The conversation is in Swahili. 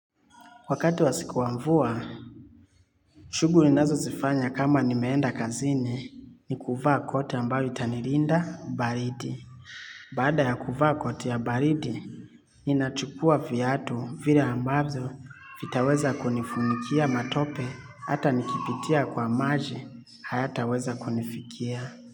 Wakati wa siku wa mvua, shuguli ninazo zifanya kama nimeenda kazini ni kuvaa koti ambayo itanirinda baridi. Badaa ya kuvaa koti ya baridi, inachukua fiatu vile ambazo vitaweza kunifunikia matope ata nikipitia kwa maji, hayataweza kunifikia.